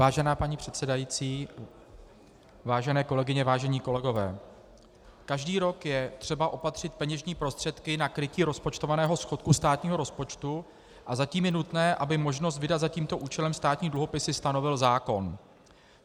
Vážená paní předsedající, vážené kolegyně, vážení kolegové, každý rok je třeba opatřit peněžní prostředky na krytí rozpočtovaného schodku státního rozpočtu a zatím je nutné, aby možnost vydat za tímto účelem státní dluhopisy stanovil zákon.